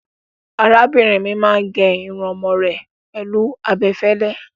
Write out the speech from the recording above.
Arábìnrin mi máa ń gé irun ọmọ rẹ̀ pẹ̀lú abẹ fẹ́lẹ́.